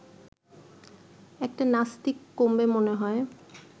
একটা নাস্তিক কমবে মনে হয়